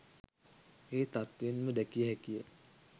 ඒ තත්ත්වයෙන්ම දැකිය හැකි ය.